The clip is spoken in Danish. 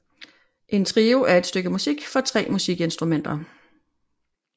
En trio er et stykke musik for tre musikinstrumenter